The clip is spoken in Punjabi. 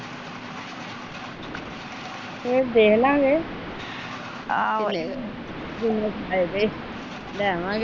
ਰੇਟ ਦੇਖਲਾਗੇ ਫਿਰ ਤੇ ਲੈ ਆਵਾਂਗੇ।